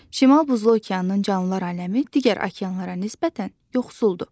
Şimal Buzlu okeanın canlılar aləmi digər okeanlara nisbətən yoxsuldur.